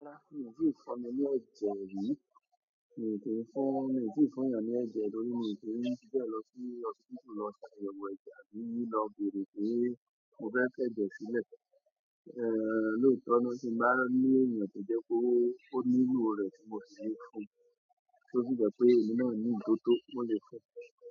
Rárá mi ò tíì fọn ẹ ní ẹ̀jẹ̀ rí, mi ò ti fọn, mi ò tí ì fún'yàn ní ẹ̀jẹ̀ torí mi ò kí ń fi bẹ́ẹ̀ lọ sí hospital lọ ṣàyẹ̀wò ẹ̀jẹ̀ mí ní lọ bèrè pé mo fẹ́ fẹ ẹ̀jẹ̀ sílẹ̀. Eh, lóòótọ́ ni kí bá ní èèyàn pé jẹ́ kó ó ní luù rẹ̀ tí mo ti le fún, tó sì gba pé èmi máa ní ìbò tó mo le fún.